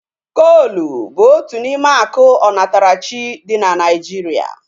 Koolu bụ otu n'ime akụ onatarachi dị na Naijiria